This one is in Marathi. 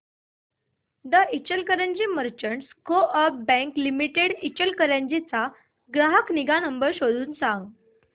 दि Ichalkaranji merchants coop bank limited Ichalkaranji चा ग्राहक निगा नंबर शोधून सांग